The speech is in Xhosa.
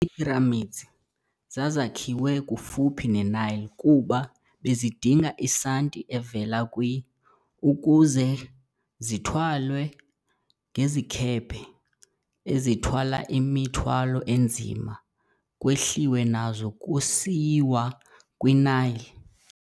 Ii-'Pyramids' zazakhiwe kufuphi ne-Nile kuba bezidinga Isanti evela kw] ukuze zithwalwe ngezikhephe ezithwala imithwalo enzima kwehliwe nazo kusiyiwa kwiNile.